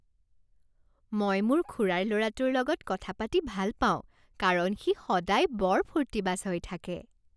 মই মোৰ খুৰাৰ ল'ৰাটোৰ লগত কথা পাতি ভাল পাওঁ কাৰণ সি সদায় বৰ ফূৰ্তিবাজ হৈ থাকে।